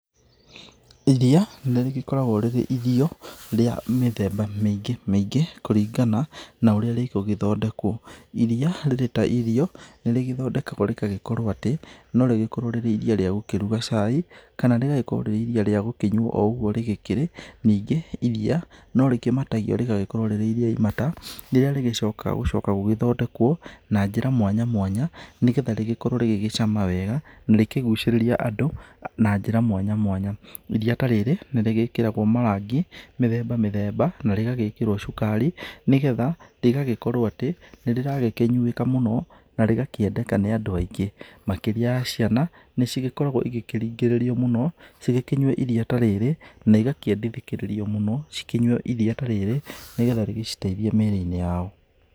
Iriia, nĩ rĩgĩkoragwo rĩrĩ irio rĩa mĩthemba mĩingĩ mĩingĩ kũringana na ũrĩa rĩgũgĩthondekwo. Iriia rĩrĩ ta irio, nĩ rĩgĩthondekagwo rĩgagĩkorwo atĩ, no rĩgĩkorwo rĩrĩ iriia rĩa kũruga cai, kana rĩgagĩkorwo rĩrĩ iriia rĩa gũkĩnyuo o ũguo rĩgĩkĩrĩ, nyingĩ iriia no rĩkĩmatagio rĩgagĩkorwo rĩrĩ iriia imata rĩrĩa rĩgĩcokaga gũcoka gũgĩthondekwo na njĩra mwanya mwanya, nĩ getha rĩgĩkorwo rĩgĩgĩcama wega na rĩkĩgucĩrĩria andũ na njĩra mwanya mwanya. Iriia ta rĩrĩ nĩ rĩgĩkĩragwo marangi mĩthemba mĩthemba, na rĩgagĩkĩrwo cukari, nĩ getha rĩgagĩkorwo atĩ, nĩ rĩragĩkĩnyuĩka mũno, na rĩgakĩendeka nĩ andũ aingĩ. Makĩria ya ciana, nĩ cigĩkoragwo igĩkĩrĩngĩrĩrio mũno, cigĩkĩnyue iriia ta rĩrĩ na igakĩendekithĩrĩrio mũno cikĩnyue iriia ta rĩrĩ nĩ getha rĩgĩciteithie mĩrĩ-inĩ yao.